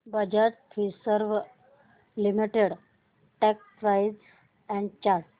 Bajaj Finserv limited stock price and chart